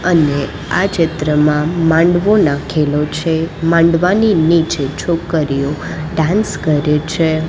અને આ ચીત્રમાં માંડવો નાખેલો છે માંડવાની નીચે છોકરીઓ ડાન્સ કરે છે.